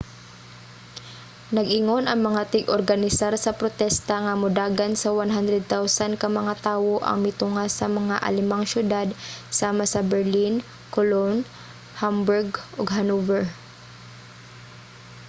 nag-ingon ang mga tig-organisar sa protesta nga modagan sa 100,000 ka mga tawo ang mitunga sa mga alemang syudad sama sa berlin cologne hamburg ug hanover